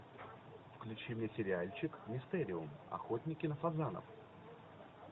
включи мне сериальчик мистериум охотники на фазанов